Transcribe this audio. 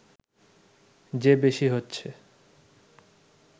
যে বেশি হচ্ছে